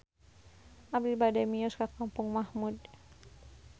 Abi bade mios ka Kampung Mahmud